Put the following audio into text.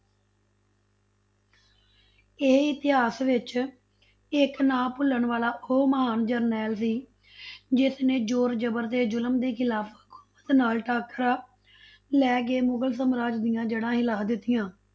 ਇਹ ਇਤਿਹਾਸ ਵਿੱਚ ਇੱਕ ਨਾ ਭੁੱਲਣ ਵਾਲਾ ਉਹ ਮਹਾਨ ਜਰਨੈਲ ਸੀ ਜਿਸਨੇ ਜੋਰ ਜਬਰ ਤੇ ਜੁਲਮ ਦੇ ਖਿਲਾਫ਼ ਹਕੂਮਤ ਨਾਲ ਟਾਕਰਾ ਲੈਕੇ ਮੁਗਲ ਸਮਰਾਜ ਦੀਆਂ ਜੜਾ ਹਿਲਾ ਦਿੱਤੀਆਂ।